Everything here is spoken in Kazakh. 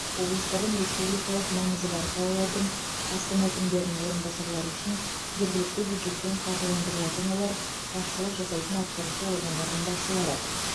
облыстардың республикалық маңызы бар қалалардың астана әкімдерінің орынбасарлары үшін жергілікті бюджеттен қаржыландырылатын олар басшылық жасайтын атқарушы органдардың басшылары